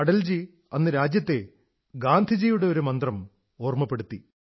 അടൽജി അന്ന് രാജ്യത്തെ ഗാന്ധിജിയുടെ ഒരു മന്ത്രം ഓർമ്മിപ്പിച്ചു